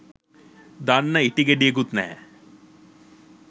දන්න ඉටි ගෙඩියකුත් නැහැ